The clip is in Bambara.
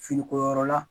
Finiko yɔrɔ la